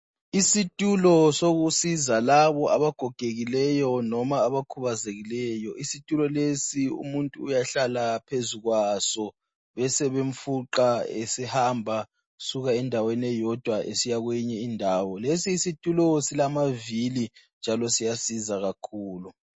Isitulo sokusiza labo abagogekileyo noma abakhubazekileyo , isitulo lesi umuntu uyahlala phezu kwaso besebemfuqa esehamba besuka endaweni eyodwa esikya kweyinye indawo , lesi situlo silamavili njalo siyasiza kakhulu